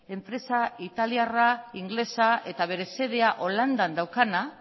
enpresa italiarra ingelesa eta bere xedea holandan daukana